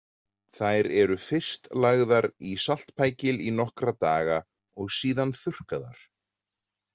Þær eru fyrst lagðar í saltpækil í nokkra daga og síðan þurrkaðar.